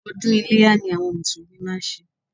Odún Iléyá ni àwon mùsùlùmí máa n se